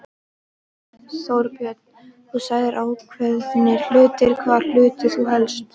Þorbjörn: Þú sagðir ákveðnir hlutir, hvaða hluti þá helst?